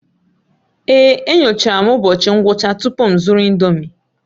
Èé, enyochara m ụbọchị ngwụcha tupu m zụrụ ị̀ndómị́